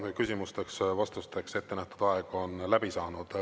Nüüd küsimusteks-vastusteks ettenähtud aeg on läbi saanud.